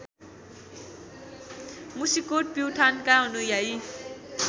मुसिकोट प्युठानका अनुयायी